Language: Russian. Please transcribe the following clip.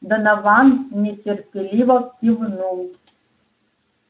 донован нетерпеливо кивнул